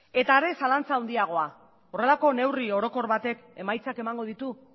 eta are zalantza handiagoa horrelako neurri orokor batek emaitzak emango ditu